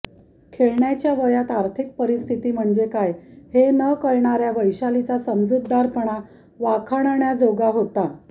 खेळण्याच्या वयात आर्थिक परिस्थिती म्हणजे काय हे न कळणाऱ्या वैशालीचा समजूतदारपणा वाखाणण्याजोगा होता